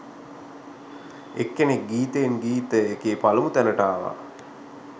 එක්කෙනෙක් ගීතයෙන් ගීතය එකේ පළමු තැනට ආවා